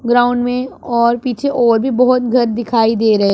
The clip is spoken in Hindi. ग्राउंड में और पीछे और भी बहोत घर दिखाई दे रहे--